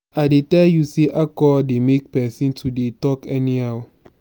i dey tell you sey alcohol dey make pesin to dey talk anyhow.